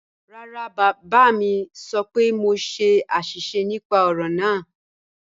Rárá, bábá mi sọ́ pẹ̀ mọ ṣè ạ̀ṣísẹ̀ nípà ọ̀rọ̀ náà.